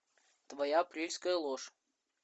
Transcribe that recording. твоя апрельская ложь